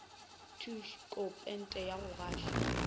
tšhoko pente ya go gašwa